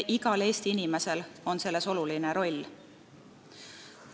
Igal Eesti inimesel on selles suur roll.